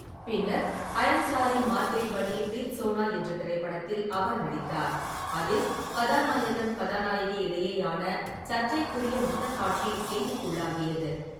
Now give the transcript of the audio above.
பின்னர், I am sorry Mathe Banni Preethsona என்ற திரைப்படத்தில் அவர் நடித்தார். அதில் கதாநாயகன்-கதாநாயகி இடையேயான சர்ச்சைக்குரிய முத்தக்காட்சி செய்திக்குள்ளாகியது.